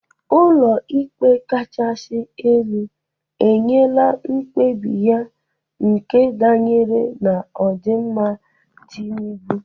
Ụlọ ikpe kachasi elu enyela mkpebi ya nke danyere n'odịmma Tinubụ.